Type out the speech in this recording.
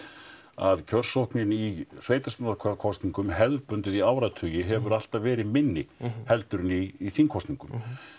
að kjörsóknin í sveitarstjórnarkosningum hefðbundið í áratugi hefur alltaf verið minni heldur en í þingkosningum